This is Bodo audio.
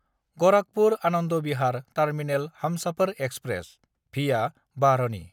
गराखपुर–आनन्द Bihar terminal Humsafar express (via बारहनि)